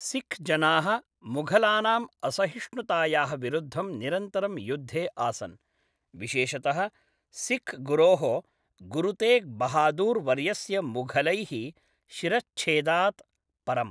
सिक्खजनाः मुघलानाम् असहिष्णुतायाः विरुद्धं निरन्तरं युद्धे आसन्, विशेषतः सिक्खगुरोः गुरुतेग् बहादुर् वर्यस्य मुघलैः शिरश्च्छेदात् परम्।